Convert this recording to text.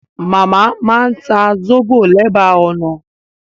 Màmá máa ń ta sóbò lẹ́bàá ọ̀nà